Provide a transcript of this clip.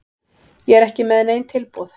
Ég er ekki með nein tilboð.